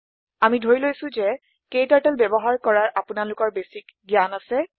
আমি ধৰি লৈছো যে ক্টাৰ্টল ব্যৱহাৰ কৰাৰ আপোনালোকৰ প্ৰাথমিক জ্ঞান আছে